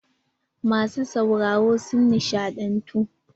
Masu sauraro sun nishaɗantu.